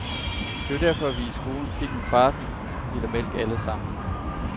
Det var derfor, vi i skolen fik en kvart liter mælk alle sammen.